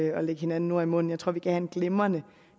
at lægge hinanden ord i munden jeg tror vi kan have en glimrende